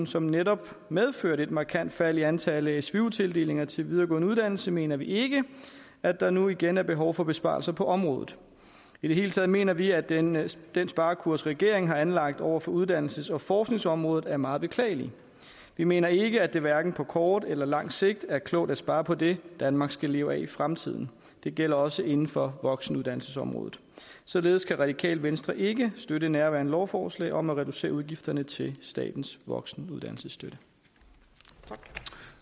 som netop medførte et markant fald i antallet af svu tildelinger til videregående uddannelse mener vi ikke at der nu igen er behov for besparelser på området i det hele taget mener vi at den at den sparekurs regeringen har anlagt over for uddannelses og forskningsområdet er meget beklagelig vi mener ikke at det hverken på kort eller lang sigt er klogt at spare på det danmark skal leve af i fremtiden det gælder også inden for voksenuddannelsesområdet således kan radikale venstre ikke støtte nærværende lovforslag om at reducere udgifterne til statens voksenuddannelsesstøtte